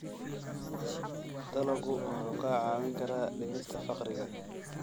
Dalaggu wuxuu kaa caawin karaa dhimista faqriga.